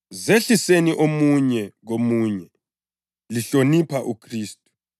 Zehliseni omunye komunye lihlonipha uKhristu.